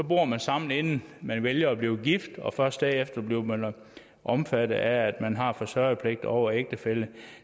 bor man sammen inden man vælger at blive gift og først derefter bliver man omfattet af at man har forsørgerpligt over for ægtefællen